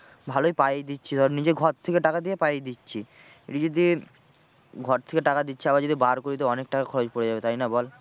ভালোই পাইয়ে দিচ্ছি ধর নিজের ঘর থেকে টাকা দিয়ে পাইয়ে দিচ্ছি। এটা যদি ঘর থেকে টাকা দিচ্ছি আবার যদি bar করি তো অনেক টাকা খরচ পরে যাবে তাই না বল।